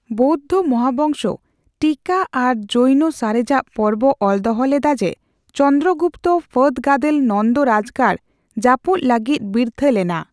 ᱵᱚᱭᱫᱷᱚ ᱢᱚᱦᱟᱵᱚᱝᱥᱚ ᱴᱤᱠᱟ ᱟᱨ ᱡᱚᱭᱱᱚ ᱥᱟᱨᱮᱡᱟᱜ ᱯᱚᱨᱵᱚ ᱚᱞᱫᱚᱦᱚ ᱞᱮᱫᱟ ᱡᱮ, ᱪᱚᱸᱱᱫᱽᱨᱚᱜᱩᱯᱛᱚ ᱯᱷᱟᱹᱫᱜᱟᱫᱮᱞ ᱱᱚᱱᱫᱚ ᱨᱟᱡᱜᱟᱲ ᱡᱟᱯᱩᱫ ᱞᱟᱜᱤᱫ ᱵᱤᱨᱛᱷᱟᱹ ᱞᱮᱱᱟ ᱾